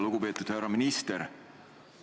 Lugupeetud härra minister!